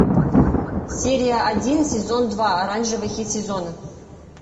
серия один сезон два оранжевый хит сезона